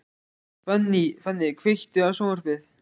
Fanny, kveiktu á sjónvarpinu.